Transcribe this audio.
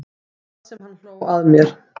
Það sem hann hló að mér.